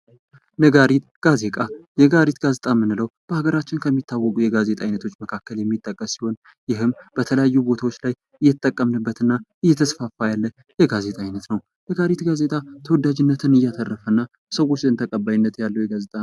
ነጋሪት ጋዜጣ ፦ ነጋሪት ጋዜጣ የምንለው በሀገራችን ከሚታወቁ የጋዜጣ አይነቶች መካከል የሚጠቀስ ሲሆን ይህም በተለያዩ ቦታዎች ላይ እየተጠቀምንበት እና እየተስፋፋ ያለ የጋዜጣ አይነት ነው ። ነጋሪት ጋዜጣ ተወዳጅነትን ያተረፈ እና በሰዎች ዘንድ ተቀባይነት ያለው የጋዜጣ